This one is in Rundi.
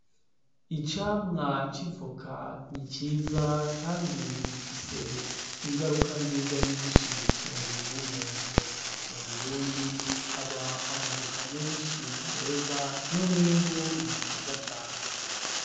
Icamwa civuka ni ciza, kandi gifise ingaruka nziza nyinshi ku mubiri w'umuntu mu burundi haba amavuka menshi meza n'umwimbu ni mwiza cane.